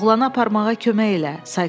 "Oğlanı aparmağa kömək elə!"